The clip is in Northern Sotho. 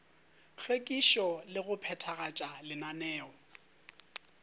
hlwekišo le go phethagatša lenaneo